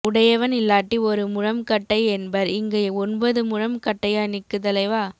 உடையவன் இல்லாட்டி ஒரு முழம் கட்டை என்பர் இங்க ஒன்பது முழம் கட்டையா நிக்கு தலைவா